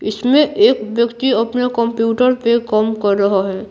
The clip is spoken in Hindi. इसमें एक व्यक्ति अपने कंप्यूटर पे काम कर रहा है।